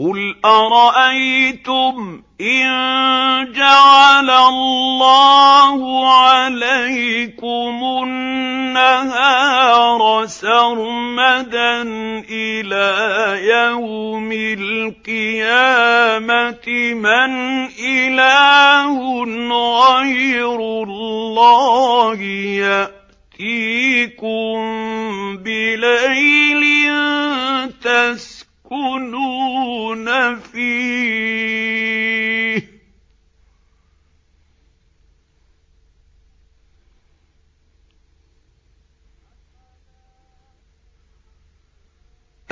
قُلْ أَرَأَيْتُمْ إِن جَعَلَ اللَّهُ عَلَيْكُمُ النَّهَارَ سَرْمَدًا إِلَىٰ يَوْمِ الْقِيَامَةِ مَنْ إِلَٰهٌ غَيْرُ اللَّهِ يَأْتِيكُم بِلَيْلٍ تَسْكُنُونَ فِيهِ ۖ